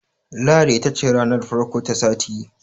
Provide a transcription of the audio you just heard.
Lahadi ita ce ranar farko ta sati.